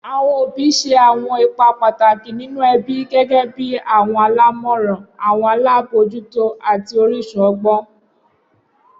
Awọn obi obi ṣe awọn ipa pataki ninu ẹbi gẹgẹbi awọn alamọran, awọn alabojuto ati orisun ọgbọn.